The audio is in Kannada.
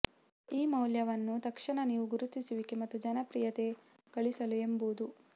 ಈ ಕನಸಿನ ಮೌಲ್ಯವನ್ನು ತಕ್ಷಣ ನೀವು ಗುರುತಿಸುವಿಕೆ ಮತ್ತು ಜನಪ್ರಿಯತೆ ಗಳಿಸಲು ಎಂಬುದು